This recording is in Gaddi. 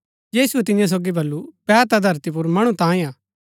यीशुऐ तियां सोगी वलु बैह ता धरती पुर मणु तांयें हा